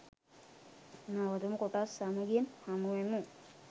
නවතම කොටස් සමගින් හමුවෙමු.